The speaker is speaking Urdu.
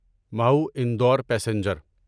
محو انڈور پیسنجر